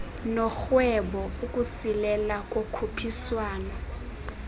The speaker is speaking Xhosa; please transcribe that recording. norhwebo ukusilela kokhuphiswano